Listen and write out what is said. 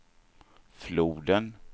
floden